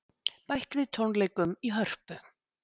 Bætt við tónleikum í Hörpu